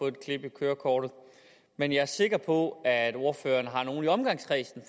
et klip i kørekortet men jeg er sikker på at ordføreren har nogle i omgangskredsen